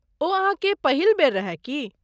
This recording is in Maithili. ओ अहाँके पहिल बेर रहै की?